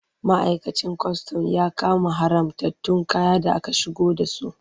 Ma'aikacin kwastam ya kama haramtattun kaya da aka shigo da su.